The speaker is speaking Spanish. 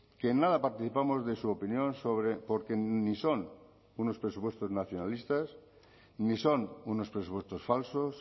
que en nada participamos de su opinión sobre porque ni son unos presupuestos nacionalistas ni son unos presupuestos falsos